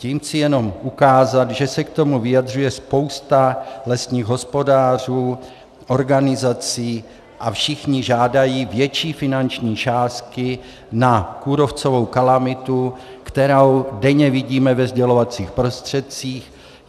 Tím chci jenom ukázat, že se k tomu vyjadřuje spousta lesních hospodářů, organizací a všichni žádají větší finanční částky na kůrovcovou kalamitu, kterou denně vidíme ve sdělovacích prostředcích.